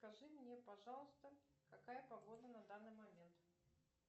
скажи мне пожалуйста какая погода на данный момент